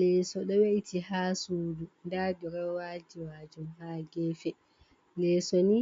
Leso ɗo we’iti ha suudu, nda dirowaji majum ha gefe, leso ni